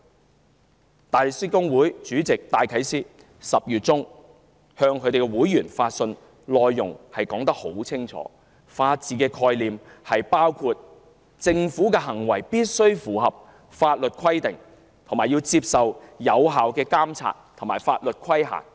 香港大律師公會主席戴啟思10月中向會員發信，清楚指出法治的概念包括政府行為必須符合法律規定，並接受有效監察和法律規限。